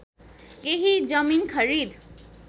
केही जमिन खरिद